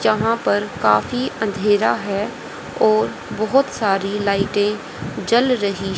जहां पर काफी अंधेरा है और बहुत सारी लाइटें जल रही--